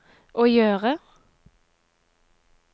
å gjøre